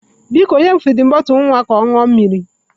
Biko, nye m fidin bọtụlụ nwa ka ọ ṅụọ mmiri!